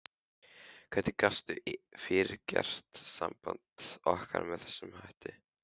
Hvernig gastu fyrirgert sambandi okkar með þessum hætti?